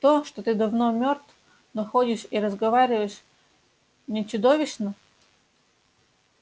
то что ты давно мёртв но ходишь и разговариваешь не чудовищно